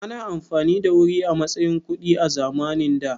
Ana amfani da wuri a matsayin kuɗi a zamanin da?